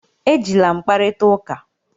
Ejila m kparịta ụka!